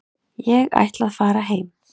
Ég ætla að fara heim.